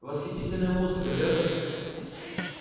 восхитительная музыка верно